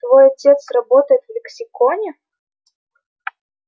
твой отец работает в лексиконе